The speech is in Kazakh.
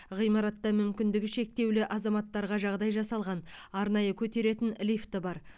ғимаратта мүмкіндігі шектеулі азаматтарға жағдай жасалған арнайы көтеретін лифт бар